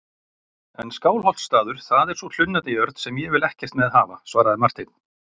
En Skálholtsstaður, það er sú hlunnindajörð sem ég vil ekkert með hafa, svaraði Marteinn.